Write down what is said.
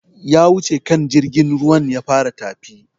Ya wuce kan jirgin ruwan ya fara tafi